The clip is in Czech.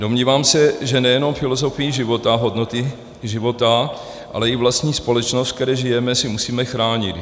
Domnívám se, že nejenom filozofii života, hodnoty života, ale i vlastní společnost, ve které žijeme, si musíme chránit.